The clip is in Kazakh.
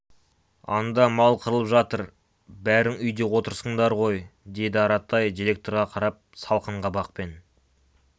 анда мал қырылып жатыр бәрің үйде отырсыңдар ғой деді аратай директорға қарап салқын қабақпен